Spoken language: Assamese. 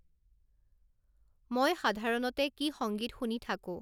মই সাধাৰণতে কি সংগীত শুনি থাকোঁ